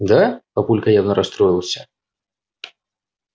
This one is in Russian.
да папулька явно расстроился